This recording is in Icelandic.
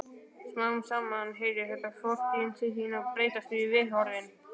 Smám saman heyrir þetta fortíðinni til og þá breytast viðhorfin.